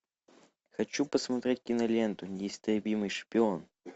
хочу посмотреть киноленту неистребимый шпион